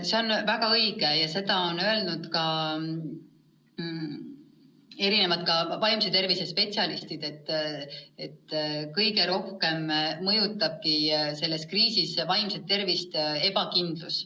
See on väga õige ja seda on öelnud ka vaimse tervise spetsialistid, et kõige rohkem mõjutab selles kriisis vaimset tervist ebakindlus.